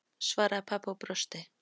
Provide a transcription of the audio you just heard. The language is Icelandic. svaraði pabbi og brosti.